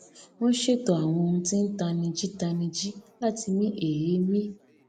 wọn ṣètò àwọn ohun tí n tanijí tanijí láti mí èémí